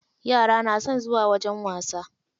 Yara na son zuwa wajen wasa.